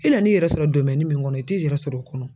E nana i yɛrɛ sɔrɔ min kɔnɔ i t'i yɛrɛ sɔrɔ o kɔnɔ